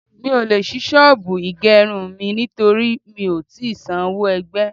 Mi ò le ṣí ṣọ́bùù ìgerun mi nítorí mi ò tí san owó ẹgbẹ́.